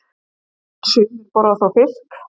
Sumir borða þó fisk.